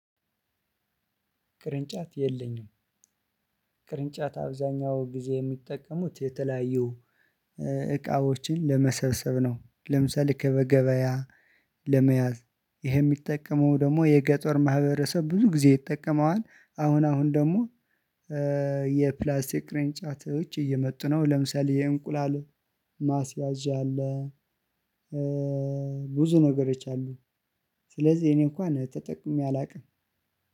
ቅርንጫት የለኝም። ቅርንጫት አብዛኛው ጊዜ የሚጠቀሙት የተለያዩ እቃዎችን ለመሰብሰብ ነው። ለምሳሌ ከገበያ ለመያዝ ይሄ ሚጠቀመው ደግሞ የገጠር ማህበረሰብ ብዙ ጊዜ ይጠቀመዋል። አሁን አሁን ደግሞ የፕላስቲክ ቅሬን ጫቶች እየመጡ ነው። ለምሳሌ የእንቁላል ማስያዣ አለ። ብዙ ነገሮች አሉኝ። ስለዚህ እኔ እንኳን ተጠቅሜ አላውቅም።